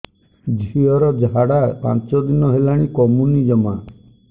ଝିଅର ଝାଡା ପାଞ୍ଚ ଦିନ ହେଲାଣି କମୁନି ଜମା